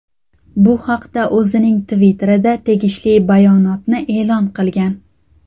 Bu haqda o‘zining Twitter’da tegishli bayonotni e’lon qilgan.